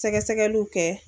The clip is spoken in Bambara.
Sɛgɛsɛgɛluw kɛ